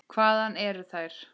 Hvaðan eru þær.